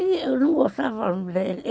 Eu não gostava